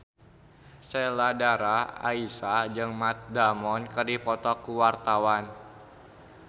Sheila Dara Aisha jeung Matt Damon keur dipoto ku wartawan